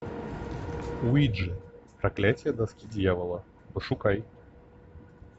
уиджи проклятие доски дьявола пошукай